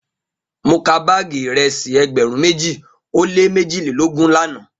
Mo ka baagi iresi egberun meji o le mejilelogun lana